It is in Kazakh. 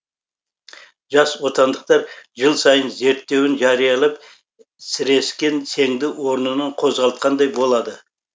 жас отандықтар жыл сайын зерттеуін жариялап сірескен сеңді орнынан қозғалтқандай болады